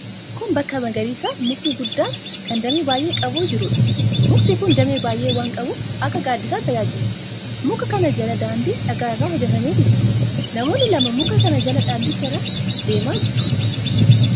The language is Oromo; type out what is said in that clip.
Kun bakka magariisa mukni guddaan, kan damee baay'ee qabu jiruudha. Mukti kun damee baay'ee waan qabuuf akka gaaddisaatti tajaajila. Muka kana jala daandii dhagaa irraa hojjetametu jira. Namoonni lama muka kana jala daandicha irra deemaa jiru.